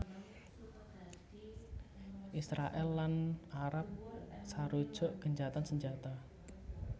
Israèl lan Arab sarujuk gencatan senjata